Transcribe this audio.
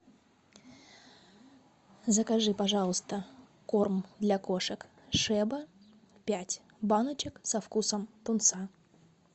закажи пожалуйста корм для кошек шеба пять баночек со вкусом тунца